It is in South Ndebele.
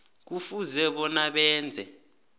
kufuze bona benze